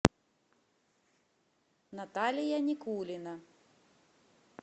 наталья никулина